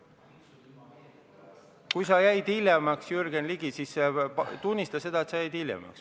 Kui sa jäid hiljaks, Jürgen Ligi, siis tunnista seda.